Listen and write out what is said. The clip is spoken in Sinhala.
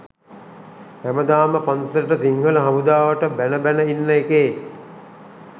හැමදාම පන්සලට සිංහල හමුදාවට බැන බැන ඉන්න එකේ